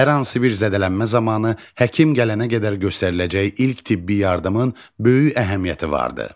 Hər hansı bir zədələnmə zamanı həkim gələnə qədər göstəriləcək ilk tibbi yardımın böyük əhəmiyyəti vardır.